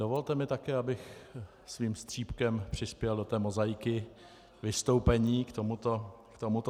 Dovolte mi také, abych svým střípkem přispěl do té mozaiky vystoupení k tomuto tématu.